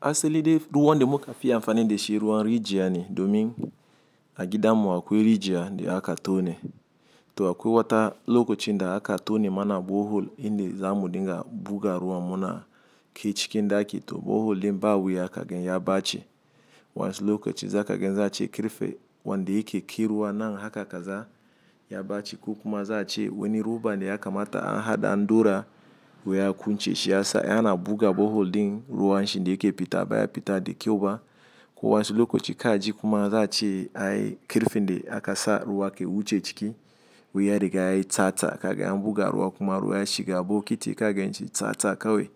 Asali dai ruwan de muka fi amfani de shi ruwan rijiya ne domin a gidan mu a kwai rijiya de aka tone. To akwaiwata lokacin da aka tone mana brehole in da zamu dinga buga ruwa muna kai ciki daki to brehole din ba wiya ka gan ya bace. Wansu lokaci za kagen za'a ce karfe wande yake kai ruwa nan haka kaza ya bace, ko kuma za'a ce wani roba ne ya kamata a haɗa daura wai ya kunce, shi ya sa in ana buga borehole din ruwan shi da yake fita baya fita de kyau ba. Ko wansu lokaci ka ji kuma za ce ai karfe de akasa ruwa ke wuce ciki waiya riga yayi tsatsa. Ka gan in an buga ruwa kuma ruwa ya ciga bokiti ka gan shi tsatsa kawai.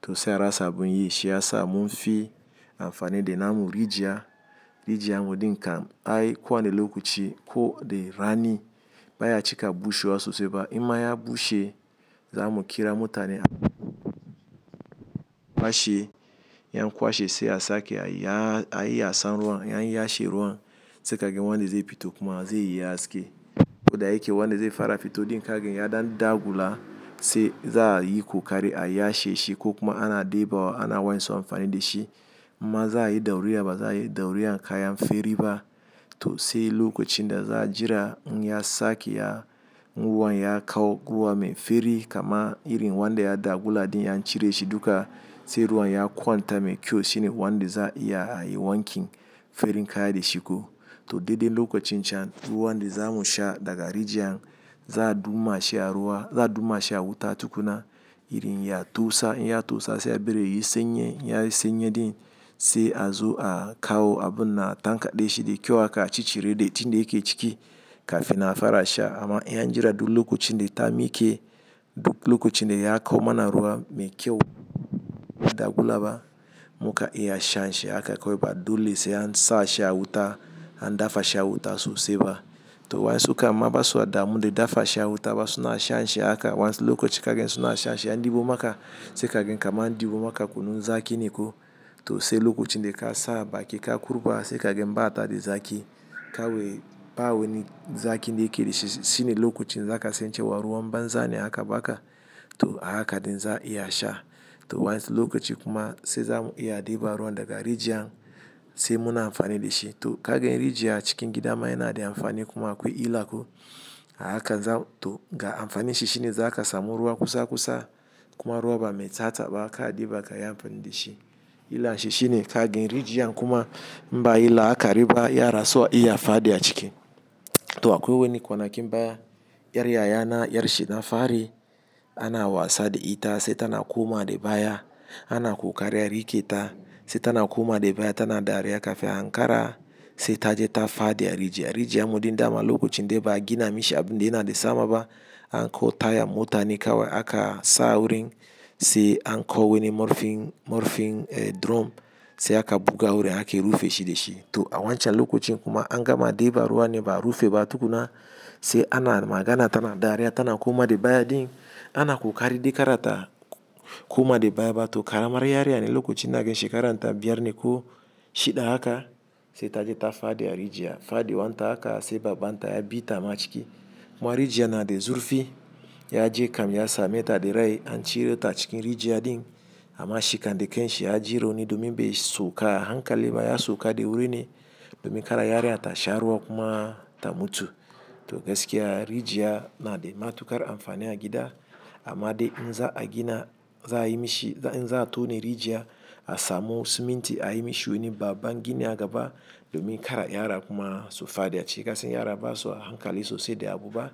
To sai a rasa bun yi shi ya sa mun fi amfani de namu rijiya. Rijiyan mu din kam ai kwana lokaci, ko de rani, baya cika bushewa sosai ba. Imma ya bushe za mu kira motane, kwashe. In an kwashe sai a sake a ya, a yi yasan ruwan, ya yi yashe ruwan, sai ka gan wanda zai fito kuma zai yi haske. Ko da yake wanda zai fara fito din ka gan ya dan ɗagula sai za yi kokari a yashe shi, ko kuma ana debawa, ana wansu amfani de shi. Mma za yi dauriya ba za yi dauriya in kayan fari ba. To sai lokacin da za jira in ya sake ya, in ruwan ya kawo ruwa mai fari kaman irin wanda ya dagula din an cire shi duka, sai ruwan ya kwanta mai kyau shine wanda za iya a yi wankin farin kaya da shi ko. To daidan lokacin can, ruwan da zamu sha daga rijiyan, za'a duma shi a ruwa, za'a duma shi a wuta tukuna irin ya tausa, in ya tausa sai a ɓari yi sanyi, in ya sanyi din, sai a zo a kawo abun na tankaɗe shi de kyau haka a cicire de din de yake ciki kafin a fara sha. Amma in ya jira duk lokacin de ta miike, duk lokacin de ya kawo mana ruwa mai kyau bai gulaba mukan iya shan shi haka kawai ba dole sai an sa shi a wuta an dafa shi a wuta sosai ba. To wayansu kam ma ba suwa damu da dafa shi a wuta ba, suna shan shi haka wayansu lokaci ka'a gan suna shan shi in an ɗibo maka sai kagan kaman an ɗibo maka kunun zaki naiko. To sai lokacin de ka sabaki ka kurɓa sai kagan ɓata de zaki, kawai ba wani zaki da yake da shi. Shine lokacin za ka san cewa ruwan banza ne aka ba ka. To ahaka din za'a iya sha. To wayansu lokaci kuma sai zamu iya deba ruwa daga rijiyan sai muna amfani de shi. To ka gan rijiya cikin gida ma yana da amfani kuma, akwai illa ko? Ahaka za to ga amfani shi shine za ka samu ruwa kusa-kusa kuma ruwa ba mai tsatsa ba ka'a deba ka yafi amfani de shi. Illan shi shine ka gan rijiya kuma mba yi laakari ba yara suwa iya fadi a ciki. To akwai wani kwanakin baya iyar yaya na, iyar shi na fari ana wasa da ita sai tana koma de baya. Ana ko kari a rike ta sai tana koma da baya tana dariya, kafin a hankara sai ta je ta fadi a rijiya. Rijiyan mu din dama lokacin dai ba a gina mishi abin da yana da sama ba an kawo tayan mota ne kawai aka sa a wurin, sai an kawo wani murfin, murfin eh drum sai aka buga wurin aka rufe shi de shi. To a wancan lokacin kuma an gama deba ruwa ne ba a rufe ba tukuna, sai ana magana tana dariya tana koma de baya din. Ana kokari dai kada ta koma da baya ba, to karaman yariya ne lokacin ina gan shekarar ta biyar ne ko shiɗa haka, sai ta je ta fadi a rijiya. Fadiwan ta haka sai baban ta ya bi ta ma ciki kuma rijiyan na da zurfi, ya je kam ya same ta de rai an cire ta cikin rijiya din, amma shi kam da kan shi ya ji rauni, domin bai sauka a hankali ba ya sauka da wuri ne domin kada yariya ta sha ruwa kuma ta mutu. To gaskiya rijiya na da matuƙar amfani a gida amma dai in za a gina za a yi mishi, in za a tone rijiya a samu siminti a yi mishi wuni baba gini a gaba domin kada yara kuma su fadi a ciki. Kasan yara ba su a hankali sosai da abu ba?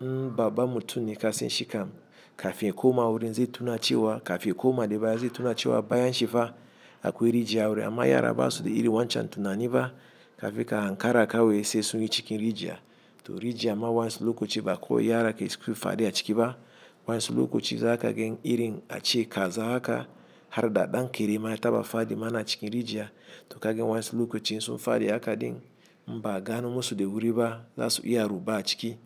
In baban mutum ne ka san shi kam kafin ya koma wurin zai tuna cewa kafin ya koma de baya zai tuna cewa bayan shi fa akwai rijiya a wurin, amma yara ba su da irin wancan tunani ba kafin ka hankara kawai sai sun yi cikin rijiya. To rijiya ma wayansu lokaci ba ko yara ke faɗiya ciki ba. Wayansu lokaci za kagan irin a ce kaza haka, har da ɗan kare ma ya taba fadi mana a cikin rijiya. To ka gan wayansu lokaci in sun fadi haka din inba a gano musu da wuri ba za su iya ruba a ciki.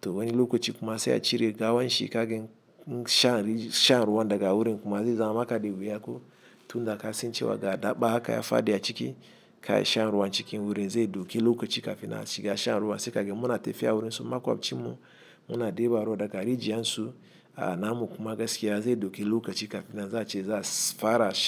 To wani lokaci kuma sai a cire gawan shi ka gan, insha shan ruwan daga wurin kuma zai zama maka da wuya ko? Tun da ka san cewa ga daɓa haka ya fadi a ciki, kai shan ruwan cikin wurin zai dauke lokaci kafin a shiga shan ruwa sai kagan muna tafiya wurin su makwabcin mu muna deba ruwa daga rijiyan su, a namu kuma gaskiya zai dauke lokaci kafin nan za ce za fara sha.